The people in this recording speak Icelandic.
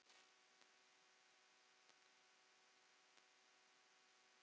Ég slæ stundum um mig.